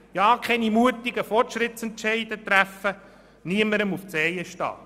Ja keine mutigen Fortschrittsentscheide treffen und niemandem auf die Zehen treten.